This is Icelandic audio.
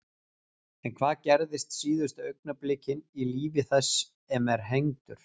En hvað gerist síðustu augnablikin í lífi þess sem er hengdur?